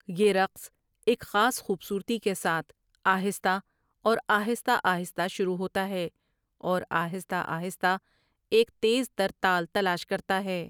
یہ رقص ایک خاص خوبصورتی کے ساتھ آہستہ اور آہستہ آہستہ شروع ہوتا ہے اور آہستہ آہستہ ایک تیز تر تال تلاش کرتا ہے ۔